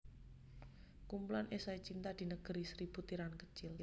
Kumpulan esai Cinta di Negeri Seribu Tiran Kecil